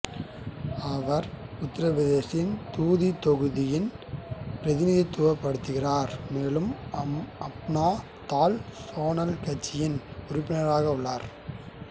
அவர் உத்திரபிரதேசத்தின் துதி தொகுதியை பிரதிநிதித்துவப்படுத்துகிறார் மேலும் அப்னா தல் சோனால் கட்சியில் உறுப்பினராக உள்ளார்